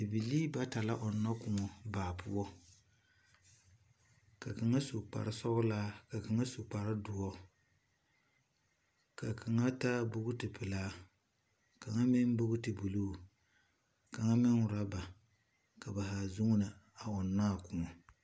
Bibilii bata la ͻnnͻ kõͻ baa poͻ. Ka kaŋa su kpare sͻgelaa ka klaŋa su kpare dõͻ. Ka kaŋa taa bogiti pelaa, kaŋa meŋ bogiti buluu kaŋa meŋ orͻba, ka ba zaa zuuni a ͻnnͻ a kõͻ.